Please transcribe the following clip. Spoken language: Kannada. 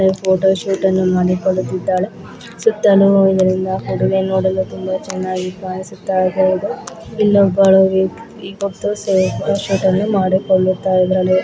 ಫೋಟೋ ಶೂಟ್ ಅನ್ನು ಮಾಡಿಕೊಳ್ಳುತ್ತಿದ್ದಾಳೆ ಮಾಡಿ ಕೊಲ್ಲುತಾ ಇದಾಳೆ. ಸುತ್ತಲೂ ಇದರಿಂದ ನೋಡಲು ತುಂಬಾ ಚೆನ್ನಾಗಿ ಕಾಣಿಸುತ್ತಿದಾಳೆ ಇಲ್ಲೊಬಲು